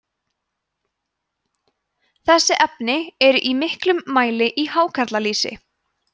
þessi efni eru í miklum mæli í hákarlalýsi